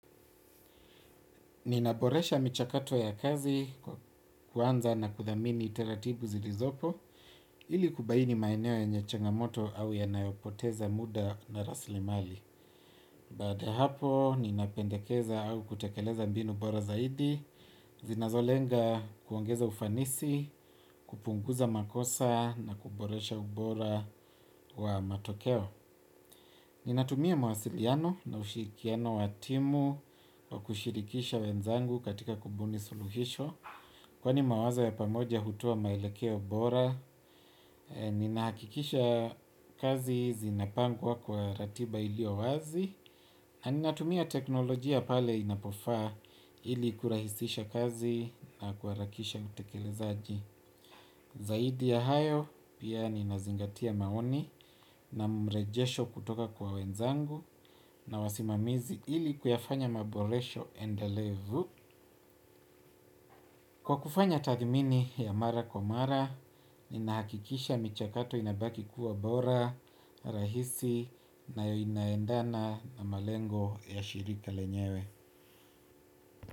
Nina boresha michakato ya kazi, kuanza na kuthamini taratibu zilizopo, ili kubaini maeneo yenye changamoto au yanayopoteza muda na raslimali. Baada ya hapo, nina pendekeza au kutekeleza mbinu bora zaidi, zinazo lenga kuongeza ufanisi, kupunguza makosa na kuboresha ubora wa matokeo. Ninatumia mawasiliano na ushirikiano wa timu wa kushirikisha wenzangu katika kubuni suluhisho kwani mawazo ya pamoja hutoa maelekeo bora nina hakikisha kazi zinapangwa kwa ratiba ilio wazi na ninatumia teknolojia pale inapofaa ili kurahisisha kazi na kuharakisha utekelezaji zaidi ya hayo pia nina zingatia maoni na mrejesho kutoka kwa wenzangu na wasi mamizi ili kuyafanya maboresho endelevu kwa kufanya tathimini ya mara kwa mara ninahakikisha michakato inabaki kuwa bora rahisi na inaendana na malengo ya shirika lenyewe.